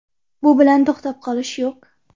Bu bilan to‘xtab qolish yo‘q”.